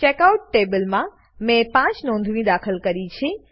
checkout ટેબલમાં મેં 5 નોંધણી દાખલ કરી છે